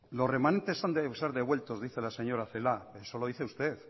los remanentes han de ser devueltos dice la señora celaá eso lo dice usted